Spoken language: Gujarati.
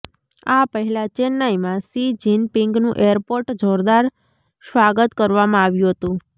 આ પહેલા ચેન્નાઇમાં શી જિનપિંગનું એરપોર્ટ જોરદાર સ્વાગત કરવામાં આવ્યુ હતુ